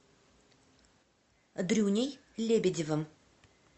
дрюней лебедевым